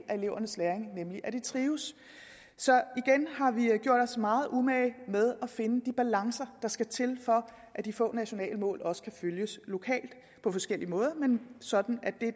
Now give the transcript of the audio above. af elevernes læring nemlig at de trives så igen har vi gjort os meget umage med at finde de balancer der skal til for at de få nationale mål også kan følges lokalt på forskellig måde men sådan at det